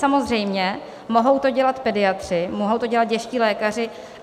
Samozřejmě, mohou to dělat pediatři, mohou to dělat dětští lékaři.